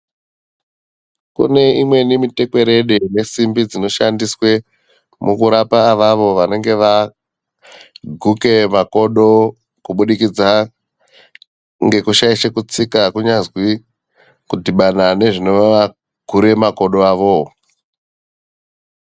Kune imweni mitekwerede ine simbi dzinoshandiswe mukurapa avavo vanenge vaguka makodo kubudikidza ngekushaisha kutsika kunyazwi kudhibana nezvinovagura makodo avowo.